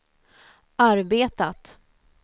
arbetat